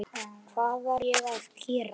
Hvað var ég að gera.?